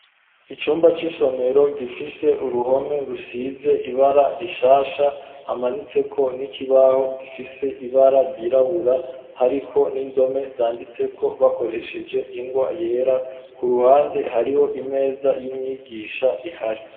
Icumba c'isomero gifise uruhome rusize ibara rishasha, hamanitseko n'ikibaho gifise ibara ryirabura hariko n'indome zanditseko bakoresheje ingwa yera, ku ruhande hariho imeza y'umwigisha ihari.